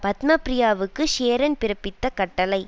பத்மப்ரியாவுக்கு சேரன் பிறப்பித்த கட்டளை